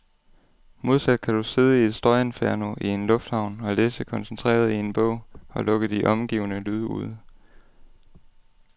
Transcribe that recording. Modsat kan du sidde i et støjinferno i en lufthavn og læse koncentreret i en bog, og lukke de omgivende lyde ude.